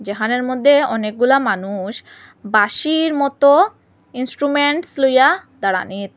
ঠানের মধ্যে অনেকগুলা মানুষ বাঁশির মতো ইন্সট্রুমেন্টস লইয়া দাঁড়ানিত।